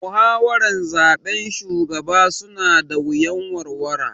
Muhawaran zaben shugaba su na da wuyan warwara